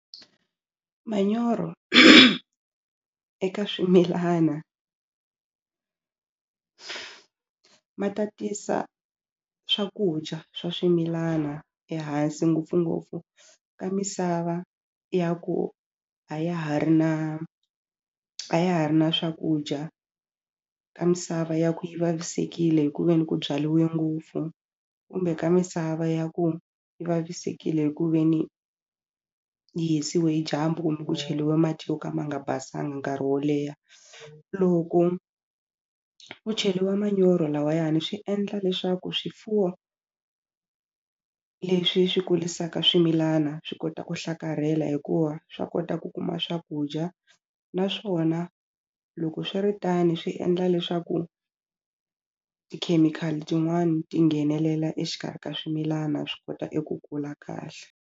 Manyoro eka swimilana ma tatisa swakudya swa swimilana ehansi ngopfungopfu ka misava ya ku a ya ha ri na a ya ha ri na swakudya ka misava ya ku yi vavisekile hi ku veni ku byaliwe ngopfu kumbe ka misava ya ku yi vavisekile hi ku ve ni yi hisiwe hi dyambu kumbe ku cheriwe mati yo ka ma nga basanga nkarhi wo leha loko ku cheliwa manyoro lawayani swi endla leswaku swifuwo leswi swi kulisaka swimilana swi kota ku hlakarhela hikuva swa kota ku kuma swakudya naswona loko swi ri tani swi endla leswaku tikhemikhali tin'wani ti nghenelela exikarhi ka swimilana swi kota eku kula kahle.